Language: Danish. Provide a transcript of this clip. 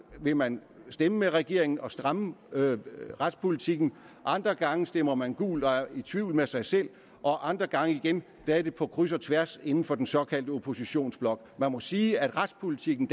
vil man stemme med regeringen og stramme retspolitikken andre gange stemmer man gult og er i tvivl med sig selv og andre gange igen er det på kryds og tværs inden for den såkaldte oppositionsblok jeg må sige at retspolitikken